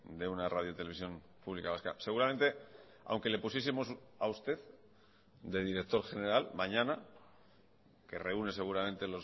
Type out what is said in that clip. de una radio televisión pública vasca seguramente aunque le pusiesemos a usted de director general mañana que reúne seguramente